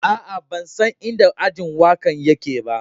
Aa, ban san in da ajin waka'n yake ba.